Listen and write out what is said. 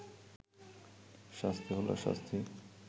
শাস্তি হলে শাস্তি